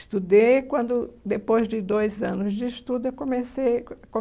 Estudei quando, depois de dois anos de estudo, eu comecei co